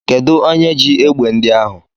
Kedụ onye ji egbe ndị ahụ?